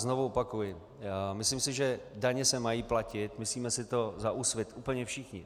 Znovu opakuji - myslím si, že daně se mají platit, myslíme si to za Úsvit úplně všichni.